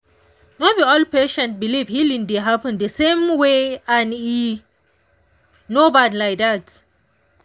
no be all patients believe healing dey happen the same way and e no bad like dat.